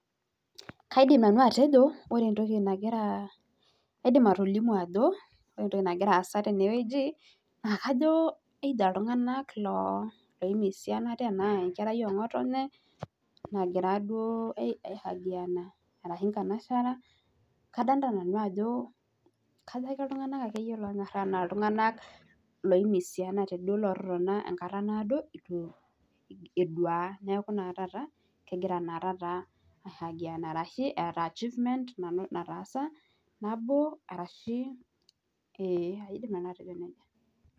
Kaidim nanu atejo Kore ntoki nakira kaidim atolimu ajo ntoki nakira aasayu teneweji naakajo eita ltunganak oimiissiiana oo nkarai engotennye naagira duo hagiana arashu nkanashara kadolita nanu ajo kajoakeye ltunganak lonyora aaltunganak loimisiana duo etotona nkata naado atu edua naaku naa tata kegira naa tata aagianaa arashu achievemen nataasa nabo arashu e kaidim nanu atejo neja.